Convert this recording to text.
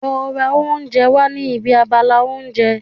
Lọ ra oúnjẹ wá ní ibi abala oúnjẹ.